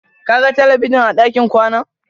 Ka ga talabijin a ɗakin kwanan?